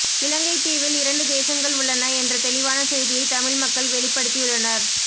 இலங்கைத் தீவில் இரண்டு தேசங்கள் உள்ளன என்ற தெளிவான செய்தியை தமிழ் மக்கள் வெளிப்படுத்தியுள்ளனர்